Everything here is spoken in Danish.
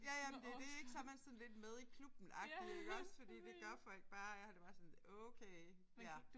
Ja ja men det er det ik så er man sådan lidt med i klubben agtig iggås fordi det gør folk bare og jeg har det bare sådan okay ja